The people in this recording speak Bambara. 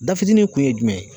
Da fitini kun ye jumɛn ye